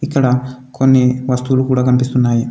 ఇక్కడ కొన్ని వస్తువులు కూడా కనిపిస్తున్నాయి.